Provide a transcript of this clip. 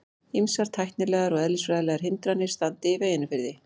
Ýmsar tæknilegar og eðlisfræðilegar hindranir standi í veginum fyrir því.